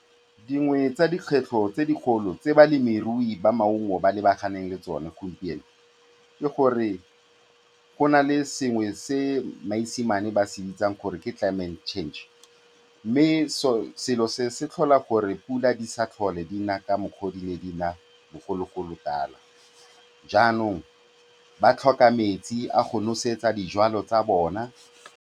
Dingwe tsa dikgwetlho tse dikgolo tse balemirui ba maungo ba lebaganeng le tsone gompieno ke gore go na le sengwe se maesimane ba se bitsang gore ke climate change mme selo se se tlhola gore 'pula di se tlhole di na ka mokgwa o di ne di na bogologolo tala, jaanong ba tlhoka metsi a go nosetsa dijwalo tsa bona.